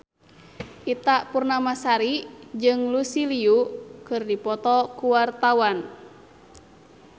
Ita Purnamasari jeung Lucy Liu keur dipoto ku wartawan